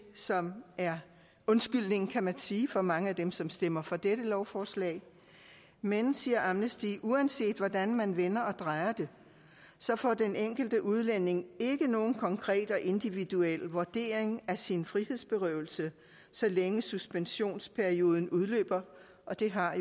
som er undskyldningen kan man sige for mange af dem som stemmer for dette lovforslag men siger amnesty international uanset hvordan man vender og drejer det så får den enkelte udlænding ikke nogen konkret og individuel vurdering af sin frihedsberøvelse så længe suspensionsperioden løber og det har